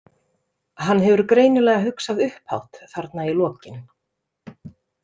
Hann hefur greinilega hugsað upphátt þarna í lokin.